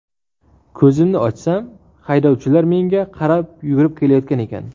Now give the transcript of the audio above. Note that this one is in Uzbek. Ko‘zimni ochsam, haydovchilar menga qarab yugurib kelayotgan ekan.